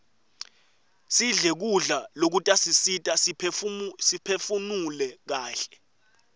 sidle kudla lokutasisita siphefunule kaihle